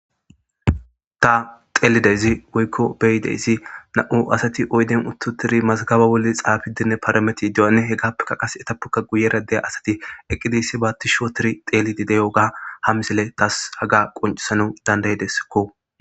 ta xeelideyzi woykko beyideyzi na'u asati oyden uttutiri mazgaba bolli xaabidinne parameti de7anne he gaappekka qase etappokka guyera deya asati eqqidiyssi baatti shootiri teelidi deyoga ha misele tas haga qoncisana dandayidesakko